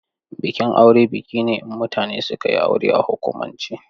Bikin aure biki ne in mutane suka yi aure a hukumance.